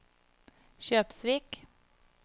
Kjøpsvik